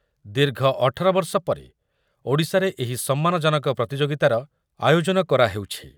ଦୀର୍ଘ ଅଠର ବର୍ଷ ପରେ ଓଡ଼ିଶାରେ ଏହି ସମ୍ମାନଜନକ ପ୍ରତିଯୋଗିତାର ଆୟୋଜନ କରାହେଉଛି ।